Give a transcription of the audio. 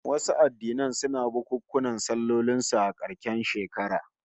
Wasu addinan suna bukunkunan sallolin su a karshen shekara